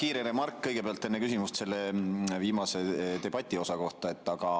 Enne küsimust kõigepealt kiire remark selle viimase, debatiosa kohta.